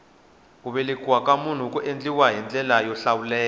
ku vekiwa ka munhu ku endliwa hi ndlela yo hlawuleka